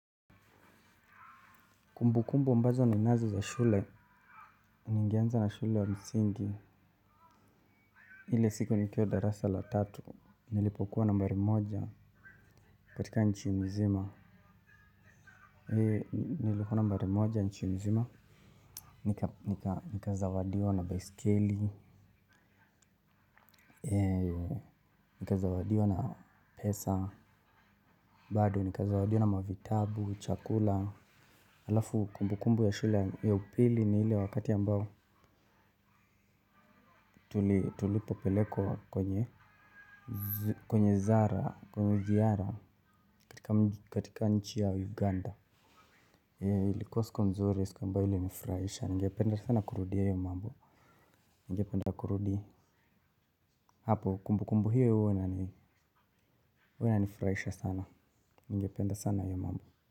Kumbu kumbu ambazo ninazo za shule, ningeanza na shule ya msingi. Ile siku nikuwa darasa la tatu, nilipokuwa nambari moja katika nchi mzima. Nilikuwa nambari moja nchi mzima, nikazawadiwa na baisikeli, nikazawadiwa na pesa, bado nikazawadiwa na mavitabu, chakula. Alafu kumbukumbu ya shula ya upili na ile wakati ambao tulipopelekwa kwenye zara, kwenye ziara katika nchi ya Uganda ilikua siku nzuri, siku ambayo ilinifurahisha, ningependa sana kurudia hiyo mambo, ningependa kurudi hapo. Kumbukumbu hio hua inanifurahisha sana, ningependa sana hio mambo.